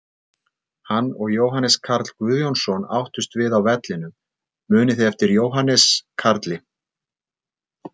Hann og Jóhannes Karl Guðjónsson áttust við á vellinum, munið þið eftir Jóhannes Karli?